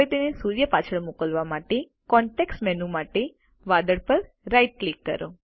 તેને સૂર્ય પાછળ મોકલવા માટે કોન્ટેક્ષ મેનૂ માટે વાદળ પર રાઇટ ક્લિક કરો